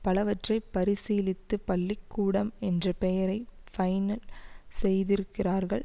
பலவற்றை பரிசீலித்து பள்ளி கூடம் என்ற பெயரை பைனல் செய்திருக்கிறார்கள்